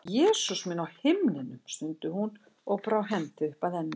Jesús minn á himnum, stundi hún og brá hendi upp að enni.